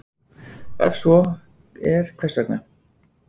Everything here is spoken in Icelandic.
Ef svo er hvers vegna?